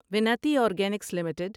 Vinati organics limited